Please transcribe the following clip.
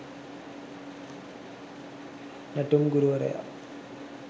නැටුම් ගුරුවරයා.